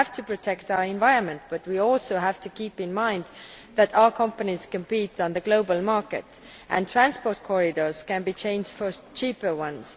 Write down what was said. We have to protect our environment, but we also have to keep in mind that our companies compete on the global market and transport corridors can be changed for cheaper ones.